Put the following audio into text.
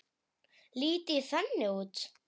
Lít ég þannig út?